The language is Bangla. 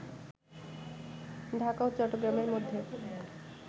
ঢাকা ও চট্টগ্রামের মধ্যে